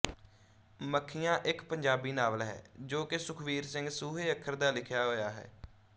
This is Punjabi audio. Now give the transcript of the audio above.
ਮੱਖੀਆਂ ਇੱਕ ਪੰਜਾਬੀ ਨਾਵਲ ਹੈ ਜੋ ਕਿ ਸੁਖਵੀਰ ਸਿੰਘ ਸੂਹੇ ਅੱਖਰ ਦਾ ਲਿਖਿਆ ਹੋਇਆ ਹੈ